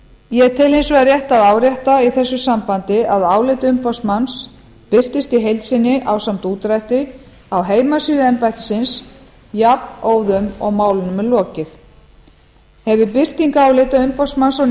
ég tel hins vegar rétt að árétta í þessu sambandi að álit umboðsmanns birtast í heild sinni ásamt útdrætti á heimasíðu embættisins jafnóðum og málunum er lokið hefur birting álita umboðsmanns á